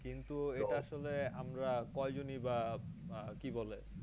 কিন্তু এটা আসলে আমরা কয় জনই বা আহ কি বলে